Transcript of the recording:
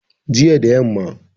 jiya da yamma